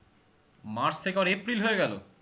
March থেকে আবার April হয়ে গেলো?